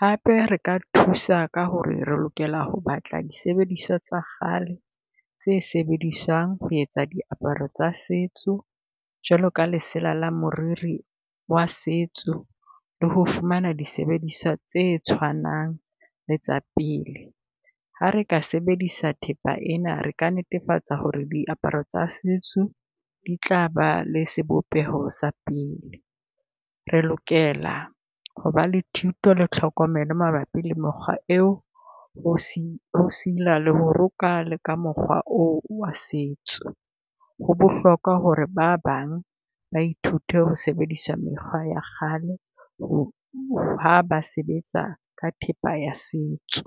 Hape re ka thusa ka ho re re lokela ho batla disebediswa tsa kgale tse sebediswang ho etsa diaparo tsa setso jwalo ka lesela la moriri wa setso, le ho fumana disebediswa tse tshwanang le tsa pele. Ha re ka sebedisa thepa ena, re ka netefatsa ho re diaparo tsa setso di tla ba le sebopeho sa pele. Re lokela ho ba la thuto le tlhokomelo mabapi le mokgwa eo, ho ho sila le ho roka le ka mokgwa oo wa setso. Ho bohlokwa ho re ba bang ba ithute ho sebedisa mekgwa ya kgale, ho ha ba sebetsa ka thepa ya setso.